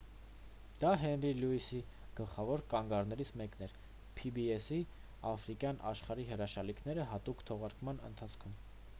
դա հենրի լյուիսի գլխավոր կանգառներից մեկն էր pbs-ի «աֆրիկյան աշխարհի հրաշալիքները» հատուկ թողարկման ընթացքում: